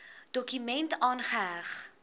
dokument aangeheg